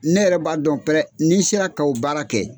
Ne yɛrɛ b'a dɔn pɛrɛ ni n sera ka o baara kɛ.